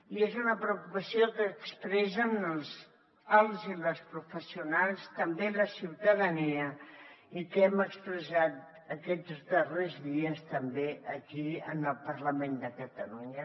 i és una preocupació que expressen els i les professionals també la ciutadania i que hem expressat aquests darrers dies també aquí en el parlament de catalunya